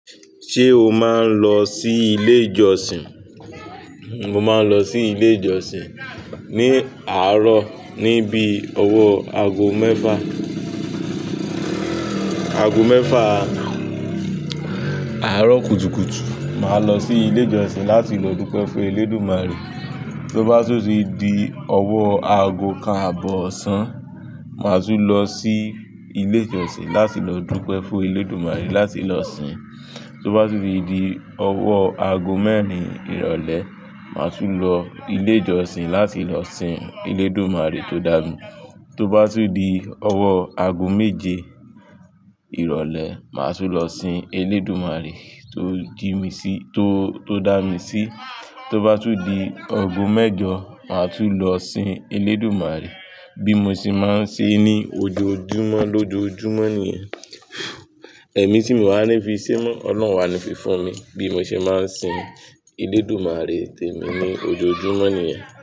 Ṣé o máa ń lọ sí ilé ìjọsìn? Mo máa ń lọ sí ilé ìjọsìn ní àárọ̀ níbi ọwọ́ ago mẹ́fà, ago mẹ́fà àárọ̀ kùtùkùtù. Màá lọ sí ilé ìjọsìn láti lọ dúpẹ́ fún Elédùmarè. Tó bá tún di ọwọ́ ago kan àbọ̀ oṣán, màá tún lọ sí ilé ìjọsìn láti lọ dúpẹ́ fún Elédùmarè láti lọ sìn. Tó bá tún di ọwọ́ ago mẹ́rin ìrọ̀lẹ́, màá tún lọ ilé ìjọsìn láti lọ sìn Elédùmarè tó dà mí. Tó bá tún di ọwọ́ ago méje ìrọ̀lẹ́, màá tún lọ sìn Elédùmarè tó jí mi sí, tó, tó dà mí sí. Tó bá tún di ago mẹ́jọ, màá tún lọ sìn Elédùmarè. Bí mo ṣe máa ń ṣe ní ojoojúmọ́ lójoojúmọ́ nìyẹn. Ẹ̀mí tí mo wà ní fi se mọ́ Ọlọ́run o wa ni fi fún mi. Bí mo ṣe máa ń sìn Elédùmarè tèmí ní ojoojúmọ́ nìyẹn.